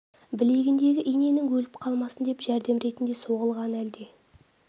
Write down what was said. білегіндегі иненің өліп қалмасын деп жәрдем ретінде соғылған әлде